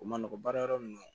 O man nɔgɔn baara yɔrɔ min